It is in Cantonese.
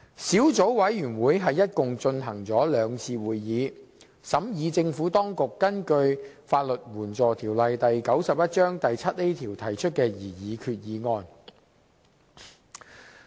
小組委員會共舉行了兩次會議，審議政府當局根據《法律援助條例》第 7a 條提出的擬議決議案。